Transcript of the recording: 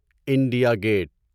India get